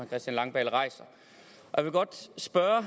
christian langballe rejser jeg vil godt spørge